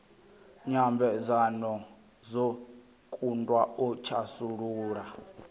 nyambedzano dzo kundwa u thasulula